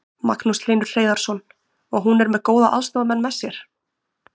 Magnús Hlynur Hreiðarsson: Og hún er með góða aðstoðarmenn með sér?